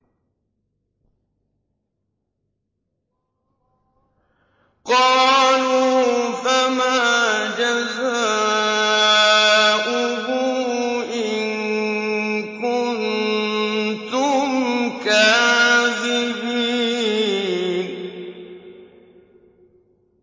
قَالُوا فَمَا جَزَاؤُهُ إِن كُنتُمْ كَاذِبِينَ